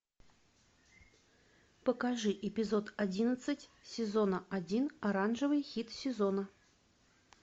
покажи эпизод одиннадцать сезона один оранжевый хит сезона